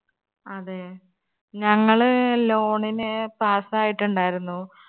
അതെ ഞങ്ങള് loan ന് pass ആയിട്ടിണ്ടായിരുന്നു